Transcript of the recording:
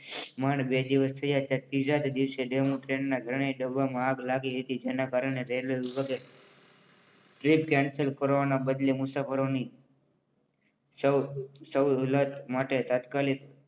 માંડ બે દિવસ થયા છે ત્રીજા દિવસે ટ્રેનના ત્રણે ડબ્બામાં આગ લાગી હતી. તેના કારણે રેલવે વિભાગે ટ્રેન કેન્સલ કરવાના બદલે મુસાફરોને સહુલ્લત માટે તાત્કાલિક